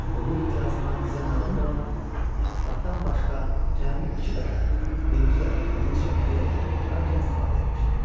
O bu imtiyazından bizə məlum olan ittifaqdan başqa cəmi iki dəfə, birinci dəfə kraliçya Maria taxta oturarkən istifadə etmişdi.